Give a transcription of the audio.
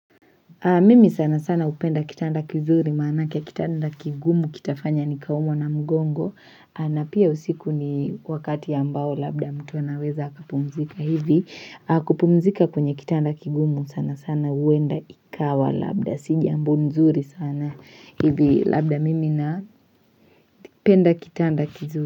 Mimi sana sana upenda kitanda kizuri maana kia kitanda kigumu kitafanya nikaumwe na mgongo na pia usiku ni wakati ya ambao labda mtu anaweza hakapumzika hivi kupumzika kwenye kitanda kigumu sana sana uenda ikawa labda Sijambo nzuri sana hivi labda mimi napenda kitanda kizuri.